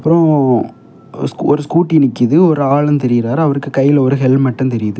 அப்புறம் ஒரு ஸ்கூட்டி நிக்கிது ஒரு ஆளும் தெரியுறாரு அவருக்கு கையில ஒரு ஹெல்மெட்டும் தெரியுது.